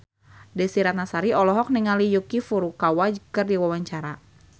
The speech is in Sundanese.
Desy Ratnasari olohok ningali Yuki Furukawa keur diwawancara